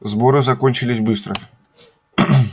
сборы закончились быстро